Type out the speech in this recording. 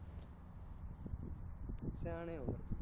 ਸਿਆਣੇ ਹੋ ਫਿਰ ਤੁਹੀ